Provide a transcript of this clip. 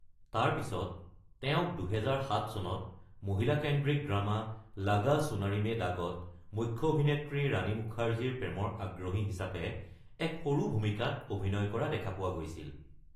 তাৰপিছত তেওঁক ২০০৭ চনত মহিলা-কেন্দ্ৰিক ড্ৰামা, লাগা চুনাৰী মে দাগ ত মুখ্য অভিনেত্ৰী ৰাণী মুখাৰ্জীৰ প্ৰেমৰ আগ্ৰহী হিচাপে এক সৰু ভূমিকাত অভিনয় কৰা দেখা পোৱা গৈছিল।